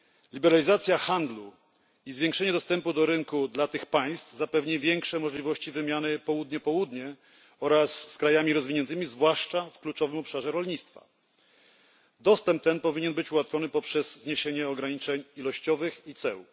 Liberalizacja handlu i zwiększenie dostępu do rynku dla tych państw zapewni większe możliwości wymiany Południe Południe oraz z krajami rozwiniętymi, zwłaszcza w kluczowym obszarze rolnictwa. Dostęp ten powinien być ułatwiony poprzez zniesienie ograniczeń ilościowych i ceł.